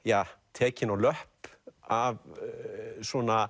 tekinn á löpp af svona